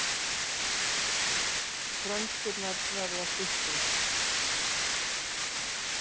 Frönskurnar verða styttri